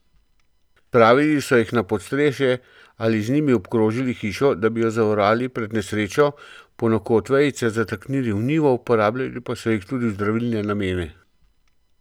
Spravili so jih na podstrešje ali z njimi obkrožili hišo, da bi jo zavarovali pred nesrečo, ponekod so vejice zataknili v njivo, uporabljali pa so jih tudi v zdravilne namene.